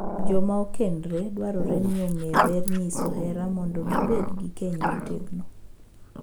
Joma okendore dwarore ni ong’ee ber nyiso hera mondo gibed gi keny motegno.